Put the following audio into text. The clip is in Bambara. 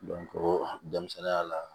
denmisɛnninya la